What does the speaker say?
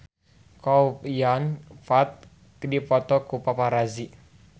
Chow Yun Fat dipoto ku paparazi